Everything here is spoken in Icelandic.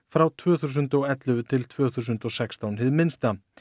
frá tvö þúsund og ellefu til tvö þúsund og sextán hið minnsta